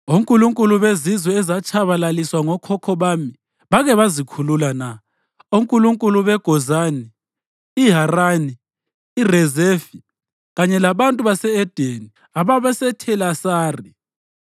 Onkulunkulu bezizwe ezatshabalaliswa ngokhokho bami bake bazikhulula na, onkulunkulu beGozani, iHarani, iRezefi kanye labantu base-Edeni ababeseThelasari?